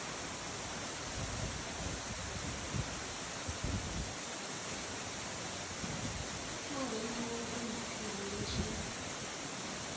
tou rengiwa u khonekhithululwe zwi